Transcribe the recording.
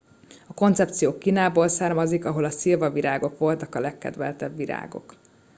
a koncepció kínából származik ahol a szilvavirágok voltak a legkedveltebb virágok